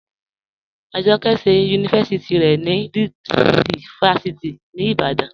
Ajọkẹ ṣẹ yunifásíti rẹ ni Lead City fásíti ni Ìbàdàn.